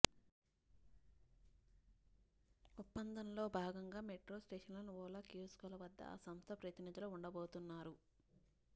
ఒప్పందంలో భాగంగా మెట్రో స్టేషన్లలోని ఓలా కియోస్క్ల వద్ద ఆ సంస్థ ప్రతినిధులు ఉండబోతున్నారు